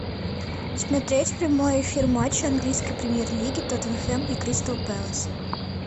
смотреть прямой эфир матча английской премьер лиги тоттенхэм и кристал пэлас